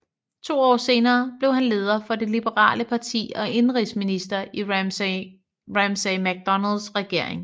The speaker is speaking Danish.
To år senere blev han leder for det liberale parti og indenrigsminister i Ramsay MacDonalds regering